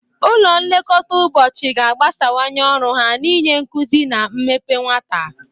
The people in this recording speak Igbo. Ụlọ nlekọta ụbọchị ga-agbasawanye ọrụ ha n'inye nkuzi na mmepe nwata.